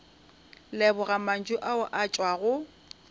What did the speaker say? leboga mantšu ao a tšwago